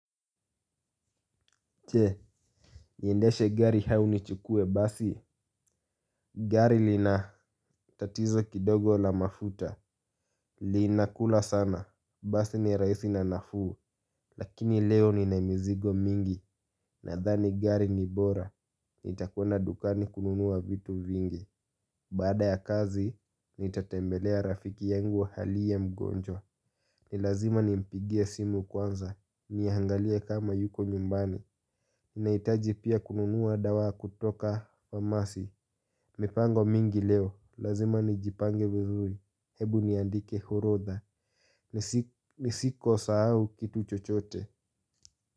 Je, niendeshe gari au nichukue basi? Gari lina tatizo kidogo la mafuta. Linakula sana, basi ni rahisi na nafuu. Lakini leo nina mizigo mingi nadhani gari ni bora. Nitakwenda dukani kununua vitu vingi. Baada ya kazi, nitatembelea rafiki yangu aliye mgonjwa. Ni lazima nimpigie simu kwanza, niangalie kama yuko nyumbani. Ninahitaji pia kununua dawa kutoka famasi. Mipango mingi leo, lazima nijipange vizuri. Hebu niandike orodha. Nisikosahau kitu chochote.